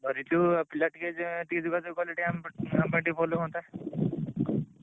ଧରିଛୁ ଆଉ ପିଲା ଟିକେ ଏଁ ଟିକେ ଯୋଗାଯୋଗ କଲେ ଟିକେ ଆମ ପାଇଁ ଆମ ପାଇଁ ଭଲ ହୁଅନ୍ତା।